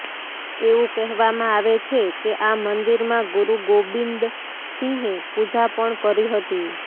એવું કહેવામાં આવે છે કે આ મંદિરમાં ગુરુગોબિંદસિંહે પૂજા પણ કરી હતી